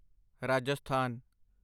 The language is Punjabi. ਰਾਜਸਥਾਨ